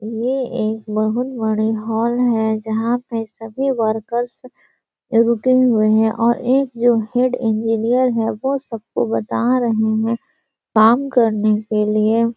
ये एक बहोत बड़े हॉल है जहां पे सभी वर्कर्स रुके हुए है और एक जो हेड इंजीनियर है वो सबको बता रहे है काम करने के लिए --